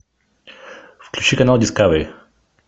включи канал дискавери